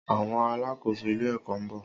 Àwon alàkóso ilé èkó nbo